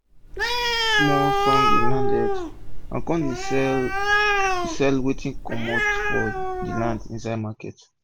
we dey sing small songs on land health and com dey sell sell wetin comto for the land insid market.